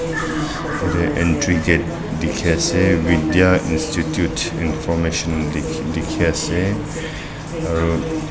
yate entry gate dikhia ase vidya institute information di dikhi ase aru--